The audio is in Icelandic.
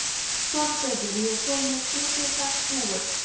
Þorgautur, ég kom með sjötíu og sex húfur!